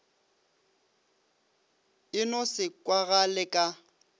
e no se kwagale ka